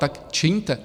Tak čiňte!